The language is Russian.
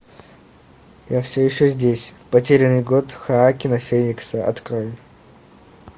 я все еще здесь потерянный год хоакина феникса открой